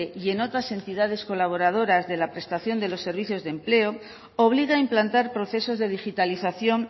y en otras entidades colaboradoras de la prestación de los servicios de empleo obliga a implantar procesos de digitalización